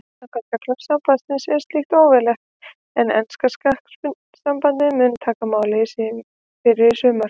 Samkvæmt reglum sambandsins er slíkt óleyfilegt en enska knattspyrnusambandið mun taka máið fyrir í sumar.